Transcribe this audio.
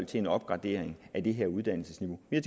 til en opgradering af uddannelsesniveauet vi